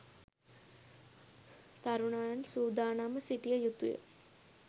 තරුණයන් සූදානම්ව සිටිය යුතුය.